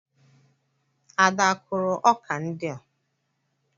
Ada akụrụ ọkà ndị a?